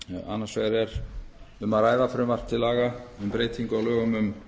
annars vegar er um að ræða frumvarp til laga um breytingu á lögum um